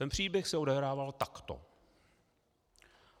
Ten příběh se odehrával takto.